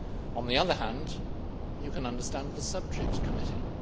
On the other hand, you can understand the subject committee.